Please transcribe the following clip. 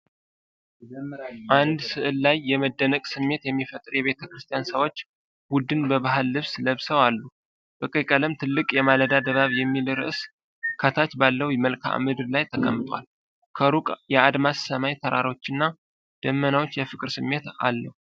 አንድ ሥዕል ላይ የመደነቅ ስሜት የሚፈጥር የቤተ ክርስቲያን ሰዎች ቡድን በባህላዊ ልብስ ለብሰው አሉ። በቀይ ቀለም ትልቅ "የማለዳ ድባብ" የሚል ርዕስ ከታች ባለው መልክዓ ምድር ላይ ተቀምጧል። ከሩቅ የአድማስ ሰማይ፣ ተራሮችና ደመናዎች የፍቅር ስሜት አለው።